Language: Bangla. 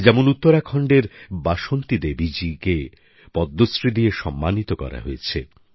যেমন উত্তরাখণ্ডের বাসন্তী দেবীজীকে পদ্মশ্রী দিয়ে সম্মানিত করা হয়েছে